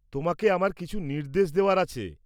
তোমাকে আমার কিছু নির্দেশ দেওয়ার আছে।